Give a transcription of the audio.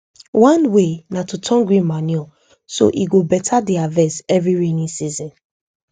one way na to turn green manure so e go beta the harvest every raining season